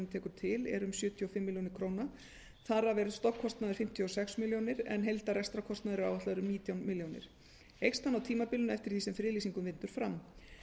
tekur til er um sjötíu og fimm milljónir króna þar af er stofnkostnaður fimmtíu og sex milljónir króna en heildar rekstrarkostnaður er áætlaður um nítján milljónum króna eykst hann á tímabilinu eftir því sem friðlýsingum vindur fram